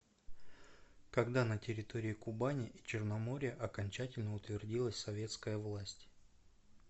когда на территории кубани и черноморья окончательно утвердилась советская власть